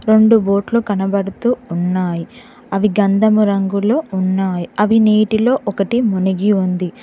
రొండు బోట్లు కనబడుతూ ఉన్నాయ్ అవి గంధము రంగులో ఉన్నాయ్ అవి నీటిలో ఒకటి మునిగి ఉంది.